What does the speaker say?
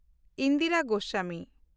Indira Goswami